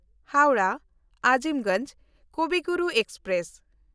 ᱦᱟᱣᱲᱟᱦ–ᱟᱡᱤᱢᱜᱚᱧᱡᱽ ᱠᱚᱵᱤ ᱜᱩᱨᱩ ᱮᱠᱥᱯᱨᱮᱥ